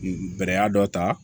Bɛrɛ dɔ ta